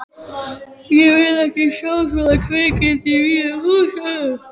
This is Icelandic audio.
Ég vil ekki sjá svona kvikindi í mínum húsum!